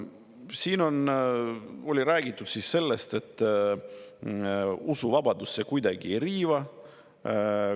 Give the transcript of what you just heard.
Siin on räägitud sellest, et usuvabadust see kuidagi ei riiva.